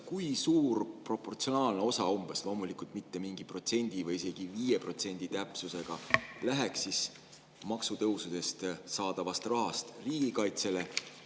Kui suur proportsionaalne osa sinu hinnangul umbes – loomulikult mitte mingi protsendi või isegi 5% täpsusega – läheks maksutõusudest saadavast rahast riigikaitsele?